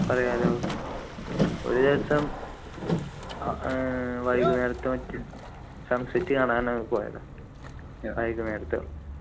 പറയാലോ ഒരുദിവസം ആഹ് ഏർ വൈകുന്നേരത്തോ മറ്റോ sunset കാണാന് പോയതാ വൈകുന്നേരത്ത്